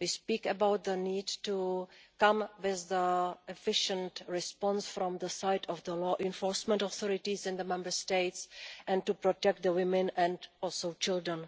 we speak about the need to come with an efficient response from the side of the law enforcement authorities in the Member States and to better protect women and children.